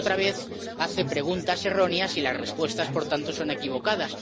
Pero, otra vez, hace preguntas erróneas y las respuestas, por tanto, son equivocadas.